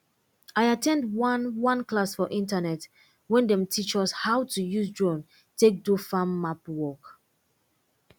i at ten d one one class for internet wey dem teach us how to use drone take do farm map work